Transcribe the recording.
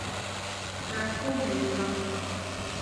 Kratka obleka.